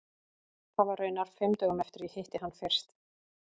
Það var raunar fimm dögum eftir að ég hitti hann fyrst.